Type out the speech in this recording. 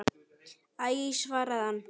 Æ svaraði hann.